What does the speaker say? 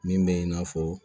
Min bɛ i n'a fɔ